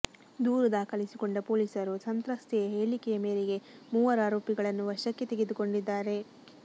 ದೂರು ದಾಖಲಿಸಿಕೊಂಡ ಪೊಲೀಸರು ಸಂತ್ರಸ್ತೆಯ ಹೇಳಿಕೆಯ ಮೇರೆಗೆ ಮೂವರೂ ಆರೋಪಿಗಳನ್ನು ವಶಕ್ಕೆ ತೆಗೆದುಕೊಂಡಿದ್ದಾರೆ